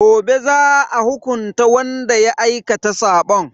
Gobe za a hukunta wanda ya aikata sabon.